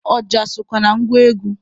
Ọja sokwa na ngwa egwu